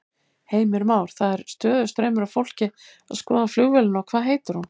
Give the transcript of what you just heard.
Heimir Már: Það er stöðugur straumur af fólki að skoða flugvélina og hvað heitir hún?